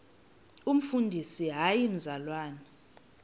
umfundisi hayi mzalwana